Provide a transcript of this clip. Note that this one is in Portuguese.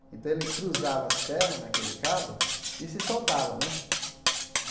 Então, ele cruzava as pernas naquele cabo e se soltava né.